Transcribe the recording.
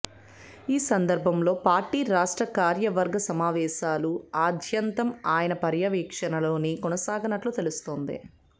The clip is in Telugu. ఈ సందర్భంలో పార్టీ రాష్ట్ర కార్యవర్గ సమావేశాలు ఆద్యంతం ఆయన పర్యవేక్షణలోనే కొనసాగనున్నట్లు తెలుస్తోంది